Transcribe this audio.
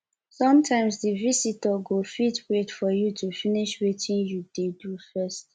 sometimes di visitor go fit wait for you to finish wetin you dey do first